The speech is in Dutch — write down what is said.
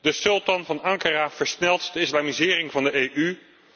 De sultan van Ankara versnelt de islamisering van de EU.